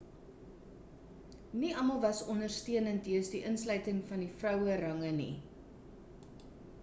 nie almal was ondersteunend jeens die insluiting van die vrouerange nie